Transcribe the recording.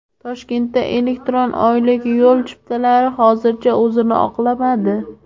Toshkentda elektron oylik yo‘l chiptalari hozircha o‘zini oqlamadi.